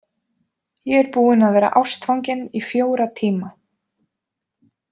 Ég er búinn að vera ástfanginn í fjóra tíma.